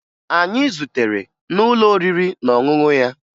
Anyị zutere n'ụlọ oriri na ọṅụṅụ ya